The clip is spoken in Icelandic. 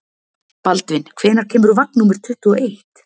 Baldvin, hvenær kemur vagn númer tuttugu og eitt?